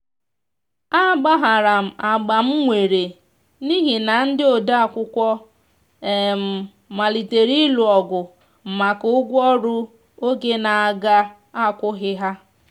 a gbaharam agbam nwere n'ihi na ndi odeakwụkwọ malitere ilụ ogụ maka ụgwọ ọrụ oge n'aga akwoghi ha.